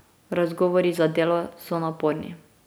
Razgovori za delo so naporni.